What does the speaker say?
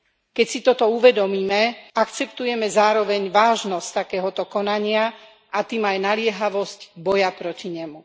Keď si toto uvedomíme, akceptujeme zároveň vážnosť takéhoto konania, a tým aj naliehavosť boja proti nemu.